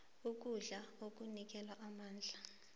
ukudla okunikela amandla